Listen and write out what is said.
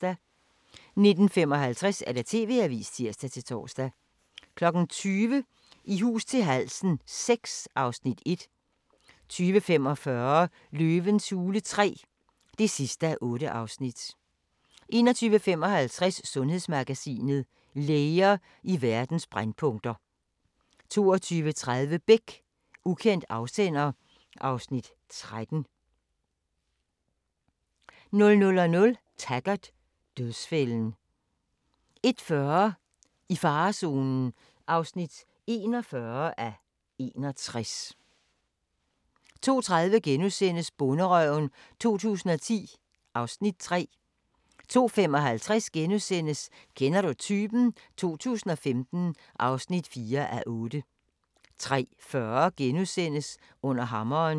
19:55: TV-avisen (tir-tor) 20:00: I hus til halsen VI (Afs. 1) 20:45: Løvens hule III (8:8) 21:55: Sundhedsmagasinet: Læger i verdens brændpunkter 22:30: Beck: Ukendt afsender (Afs. 13) 00:00: Taggart: Dødsfælden 01:40: I farezonen (41:61) 02:30: Bonderøven 2010 (Afs. 3)* 02:55: Kender du typen? 2015 (4:8)* 03:40: Under hammeren *